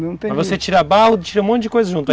Mas você tira barro, tira um monte de coisa junto.